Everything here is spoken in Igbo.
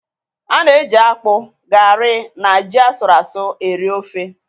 A na-eji akpu, gari na ji asụru asụ́ eri ofe